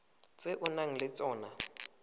tse o nang le tsona